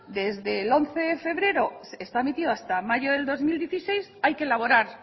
desde el once de febrero está metido hasta mayo del dos mil dieciséis hay que elaborar